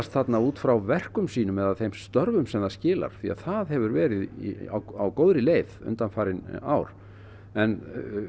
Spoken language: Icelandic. þarna út frá verkum sínum eða þeim störfum sem það skilar því að það hefur verið á góðri leið undanfarin ár en